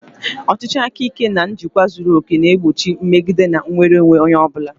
Ọchịchị aka ike na-achị na njikwa zuru oke, na-egbochi mmegide na nnwere onwe onye ọ bụla.